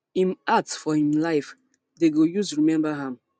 im act for im life dem go use remember am